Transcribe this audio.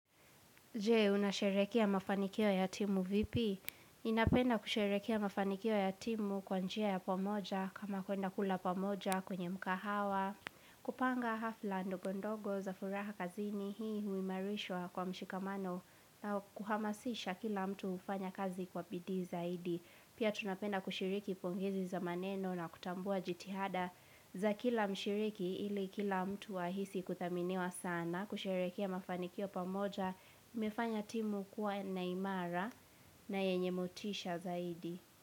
Je, unasherekea mafanikio ya timu vipi? Inapenda kusherekea mafanikio ya timu kwanjia ya pomoja, kama kuenda kula pomoja kwenye mkahawa. Kupanga hafla ndogondogo za furaha kazini hii huimarishwa kwa mshikamano na kuhamasisha kila mtu ufanya kazi kwa bidi zaidi. Pia tunapenda kushiriki pongezi za maneno na kutambua jitihada za kila mshiriki ili kila mtu ahisi kuthaminiwa sana. Na kusherekea mafanikio pamoja mefanya timu kuwa naimara na yenye motisha zaidi.